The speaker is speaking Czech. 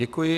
Děkuji.